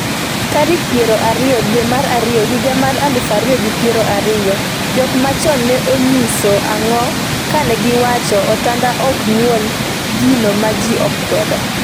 tarik pier ariyo dwe mar ariyo higa mar aluf ariyo gi piero ariyo . jok machon ne onyiso ang'o kane giwachoni otanda ok nyuol gino ma ji okwedo?